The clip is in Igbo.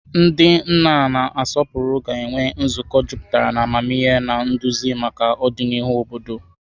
Ndị nna na-asọpụrụ ga-enwe nzukọ jupụtara na amamihe na nduzi maka ọdịnihu obodo.